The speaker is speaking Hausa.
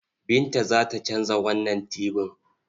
Binta za ta canza wannan tibin.